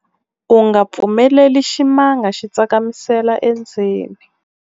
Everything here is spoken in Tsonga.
u nga pfumeleli ximanga xi tsakamisela endzeni